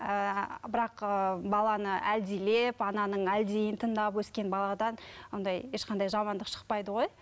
ііі бірақ ыыы баланы әлдилеп ананың әлдиін тыңдап өскен баладан андай ешқандай жамандық шықпайды ғой